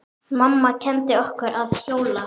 Mamma kenndi okkur að hjóla.